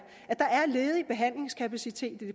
ledig behandlingskapacitet